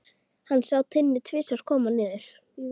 Hann sá Tinnu tvisvar koma niður.